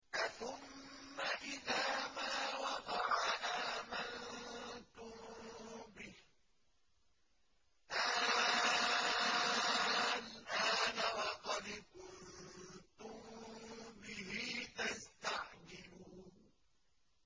أَثُمَّ إِذَا مَا وَقَعَ آمَنتُم بِهِ ۚ آلْآنَ وَقَدْ كُنتُم بِهِ تَسْتَعْجِلُونَ